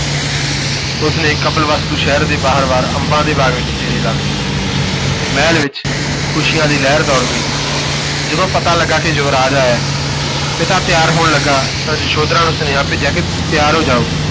ਉਸ ਨੇ ਕਪਿਲਵਸਤੂ ਸ਼ਹਿਰ ਦੇ ਬਾਹਰਵਾਰ ਅੰਬਾਂ ਦੇ ਬਾਗ ਵਿਚ ਡੇਰੇ ਲਾ ਲਏ ਮਹਿਲ ਵਿਚ ਖੁਸ਼ੀਆਂ ਦੀ ਲਹਿਰ ਦੌੜ ਗਈ ਜਦੋਂ ਪਤਾ ਲੱਗਾ ਕਿ ਯੁਵਰਾਜ ਆਇਆ ਹੈ, ਪਿਤਾ ਤਿਆਰ ਹੋਣ ਲੱਗਾ ਤਾਂ ਯਸ਼ੋਧਰਾ ਨੂੰ ਸੁਨੇਹਾ ਭੇਜਿਆ ਕਿ ਤਿਆਰ ਹੋ ਜਾਓ,